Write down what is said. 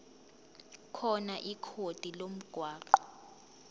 khona ikhodi lomgwaqo